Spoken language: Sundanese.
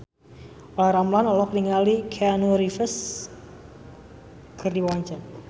Olla Ramlan olohok ningali Keanu Reeves keur diwawancara